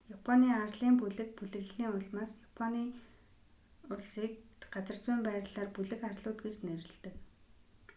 японы арлын бүлэг/бүлэглэлийн улмаас япон улсыг газар зүйн байрлалаар бүлэг арлууд гэж нэрлэдэг